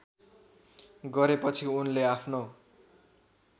गरेपछि उनले आफ्नो